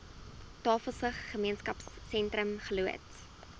tafelsig gemeenskapsentrum geloods